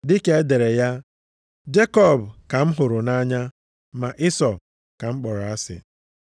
Dịka e dere ya, “Jekọb ka m hụrụ nʼanya ma Ịsọ ka m kpọrọ asị.” + 9:13 \+xt Mal 1:2,3\+xt*